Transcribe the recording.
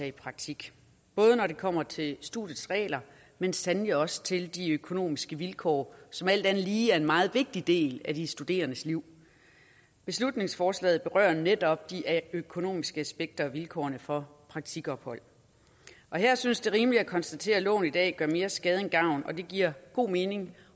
i praktik både når det kommer til studiets regler men sandelig også til de økonomiske vilkår som alt andet lige er en meget vigtig del af de studerendes liv beslutningsforslaget berører netop de økonomiske aspekter og vilkårene for praktikophold her synes det rimeligt at konstatere at loven i dag gør mere skade end gavn og det giver god mening